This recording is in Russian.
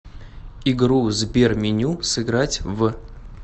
игру сберменю сыграть в